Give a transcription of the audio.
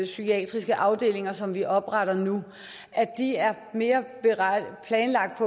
psykiatriske afdelinger som vi opretter nu de er mere planlagt